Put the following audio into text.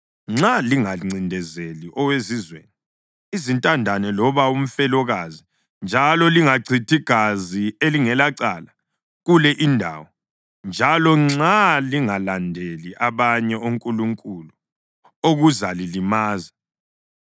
nxa lingancindezeli owezizweni, izintandane loba umfelokazi njalo lingachithi gazi elingelacala kule indawo, njalo nxa lingalandeli abanye onkulunkulu okuzalilimaza,